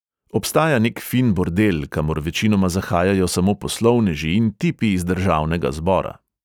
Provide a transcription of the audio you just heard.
Obstaja nek fin bordel, kamor večinoma zahajajo samo poslovneži in tipi iz državnega zbora.